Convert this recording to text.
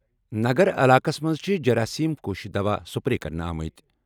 نَگر علاقَس منٛز چھِ جراثیم کش دوا سپرے کرنہٕ آمٕتۍ۔